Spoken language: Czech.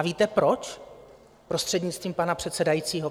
A víte proč, prostřednictvím pana předsedajícího?